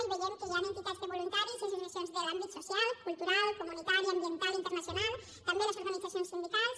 i veiem que hi han entitats de voluntaris i associacions de l’àmbit social cultural comunitari ambiental internacional també les organitzacions sindicals